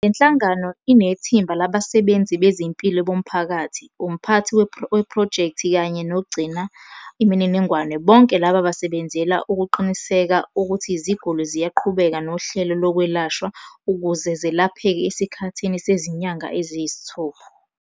Le nhlangano inethimba labasebenzi bezempilo bomphakathi, umphathi wephrojekthi kanye nogcina imininingwane bonke laba basebenzela ukuqinisekisa ukuthi iziguli ziyaqhubeka nohlelo lokwelashwa ukuze zelapheke esikhathini sezinyanga eziyisithupha.